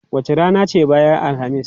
Wace rana ce bayan Alhamis?